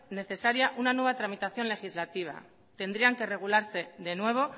necesaria una nueva tramitación legislativa tendrían que regularse de nuevo